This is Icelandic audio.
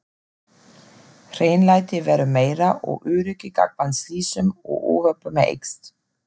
Hreinlæti verður meira og öryggi gagnvart slysum og óhöppum eykst.